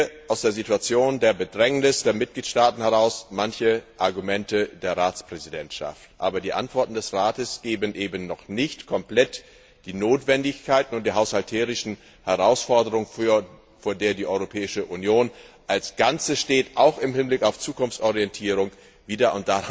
Ich verstehe aus der Situation der Bedrängnis der Mitgliedstaaten heraus manche Argumente der Ratspräsidentschaft. Aber die Antworten des Rates geben eben noch nicht komplett die Notwendigkeiten und die haushalterischen Herausforderungen, vor der die Europäische Union als Ganzes auch im Hinblick auf Zukunftsorientierung steht, wider.